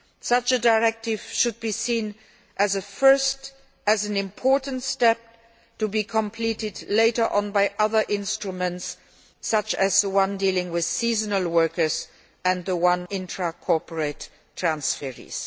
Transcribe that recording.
Such a directive should be seen as a first, and an important, step to be completed later on by other instruments, such as the ones dealing with seasonal workers and intra corporate transferees.